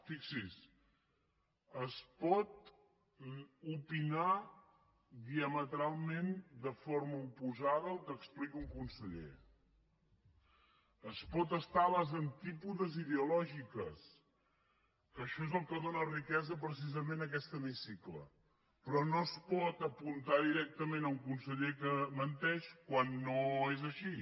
fixi’s es pot opinar diametralment de forma oposada al que explica un conseller es pot estar a les antípodes ideològiques que això és el que dóna riquesa precisament a aquest hemicicle però no es pot apuntar directament a un conseller que menteix quan no és així